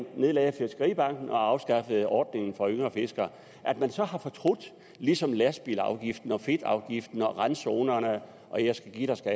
nedlagde fiskeribanken og afskaffede ordningen for yngre fiskere at man så har fortrudt det ligesom lastbilafgiften fedtafgiften og randzonerne og jeg skal give dig skal